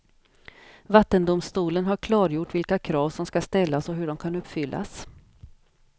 Vattendomstolen har klargjort vilka krav som ska ställas och hur de kan uppfyllas.